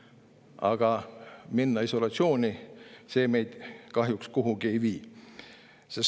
Aga isolatsiooni minemine meid kahjuks kuhugi ei vii.